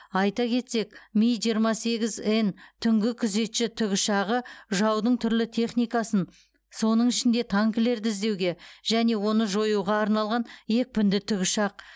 айта кетсек ми жиырма сегіз н түнгі күзетші тікұшағы жаудың түрлі техникасын соның ішінде танкілерді іздеуге және оны жоюға арналған екпінді тікұшақ